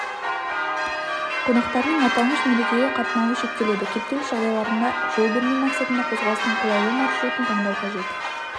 қонақтарының аталмыш мерекеге қатынауы шектеледі кептеліс жағдайларына жол бермеу мақсатында қозғалыстың қолайлы маршрутын таңдау қажет